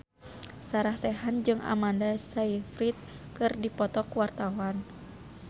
Sarah Sechan jeung Amanda Sayfried keur dipoto ku wartawan